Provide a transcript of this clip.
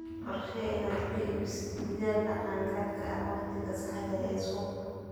Qorshee inaad ku iibiso digaagga qaan-gaadhka ah wakhtiga saxda ah ee suuqa.